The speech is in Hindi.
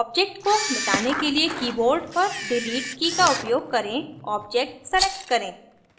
object को मिटाने के लिए keyboard पर delete की का उपयोग करें object select करें